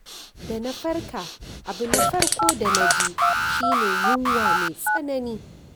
Da na farka, abu na farko da na ji shi ne yunwa mai tsanani.